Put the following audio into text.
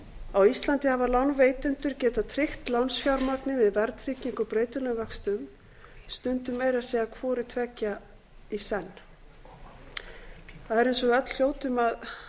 á íslandi hafa lánveitendur getað tryggt lánsfjármagnið með verðtryggingu og breytilegum vöxtum stundum meira að segja hvoru tveggja í senn það er eins og við öll hljótum að